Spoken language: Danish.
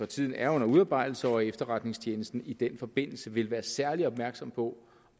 tiden er under udarbejdelse og at efterretningstjenesten i den forbindelse vil være særlig opmærksom på